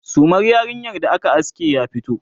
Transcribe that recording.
sumar yarinyar da aka aske ya fito?